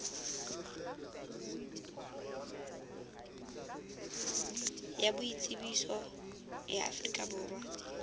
ya boitsebiso ya afrika borwa